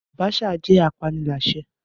Abacha jẹ́ apaniláṣẹ́